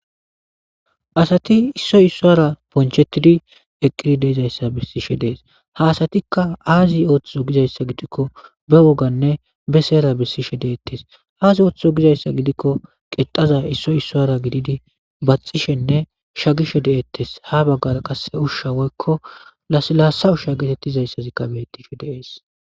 asati issoy isso ara ponchetidi eqqiri deeizayssa bissishe dees haasatikka aazi ooththiso gizayssa gidikko be woganne be seyera bissishe deettes aas ooththizo gizayssa gidikko qexaza issoy isso ara gididi baxishenne sha gishe de7ettes ha baggara qase ushsha woykko laslaasa ushsha geetettizayssazikka bettishe deees